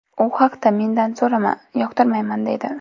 U haqda mendan so‘rama, yoqtirmayman deydi.